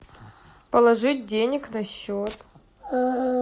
положить денег на счет